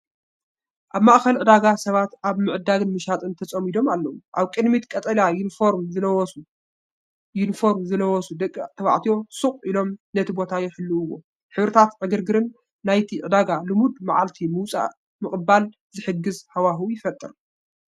ኣብ ማእከል ዕዳጋ ሰባት ኣብ ምዕዳግን ምሻጥን ተጸሚዶም ኣለዉ። ኣብ ቅድሚት ቀጠልያ ዩኒፎርም ዝለበሱ ዩኒፎርም ዝለበሱ ደቂ ተባዕትዮ ስቕ ኢሎም ነቲ ቦታ ይሕልውዎ። ሕብርታትን ዕግርግርን ናይቲ ዕዳጋ ንልሙድ መዓልቲ ምውጻእ ምቕባል ዝሕግዝ ሃዋህው ይፈጥር።